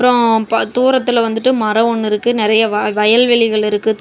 ம் ப தூரத்துல வந்துட்டு மரம் ஒன்னு இருக்கு நெறைய வ வயல்வெளிகள் இருக்கு.